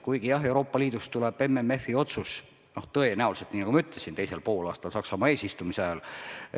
Kuigi jah, Euroopa Liidust tuleb MFF-i otsus tõenäoliselt, nagu ma ütlesin, teisel poolaastal Saksamaa eesistumise ajal.